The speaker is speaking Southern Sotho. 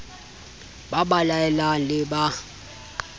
ba ba laelang le ba